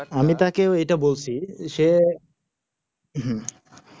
আমি তাকে ওইটা বলছি সে হুঁ